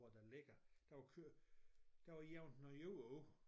Hvor der ligger der var kørt der var jævnet noget jord ud